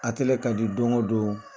A kɛlen ka do don o don